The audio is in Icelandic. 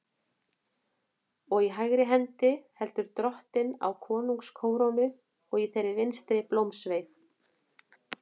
Og í hægri hendi heldur Drottinn á konungskórónu og í þeirri vinstri blómsveig.